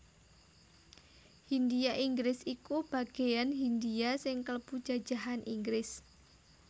Hindhia Inggris iku bageyan Hindhia sing klebu jajahan Inggris